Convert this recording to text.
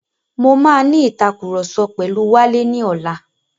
Mo máa ní ìtàkurọ̀sọ pẹ̀lu Wálé ní ọlá.